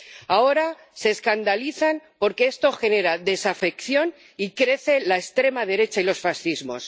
Ahora se escandalizan porque esto genera desafección y crecen la extrema derecha y los fascismos.